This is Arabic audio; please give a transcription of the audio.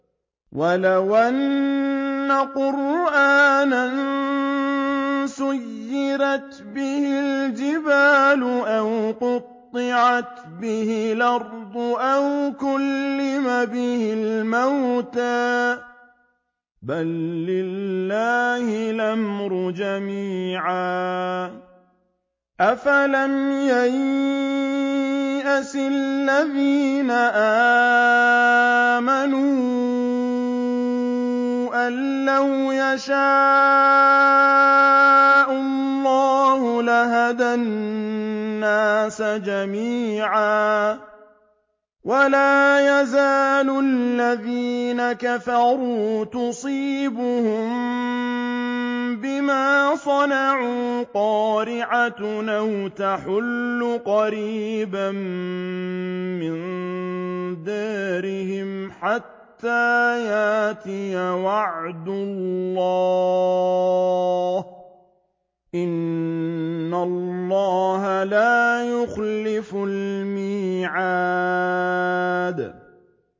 وَلَوْ أَنَّ قُرْآنًا سُيِّرَتْ بِهِ الْجِبَالُ أَوْ قُطِّعَتْ بِهِ الْأَرْضُ أَوْ كُلِّمَ بِهِ الْمَوْتَىٰ ۗ بَل لِّلَّهِ الْأَمْرُ جَمِيعًا ۗ أَفَلَمْ يَيْأَسِ الَّذِينَ آمَنُوا أَن لَّوْ يَشَاءُ اللَّهُ لَهَدَى النَّاسَ جَمِيعًا ۗ وَلَا يَزَالُ الَّذِينَ كَفَرُوا تُصِيبُهُم بِمَا صَنَعُوا قَارِعَةٌ أَوْ تَحُلُّ قَرِيبًا مِّن دَارِهِمْ حَتَّىٰ يَأْتِيَ وَعْدُ اللَّهِ ۚ إِنَّ اللَّهَ لَا يُخْلِفُ الْمِيعَادَ